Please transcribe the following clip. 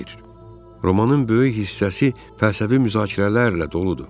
Romanın böyük hissəsi fəlsəfi müzakirələrlə doludur.